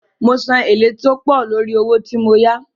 Mo san èlé tí ó pọ̀ lórí owó tí mo yá.